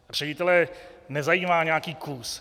Ředitele nezajímá nějaký kus.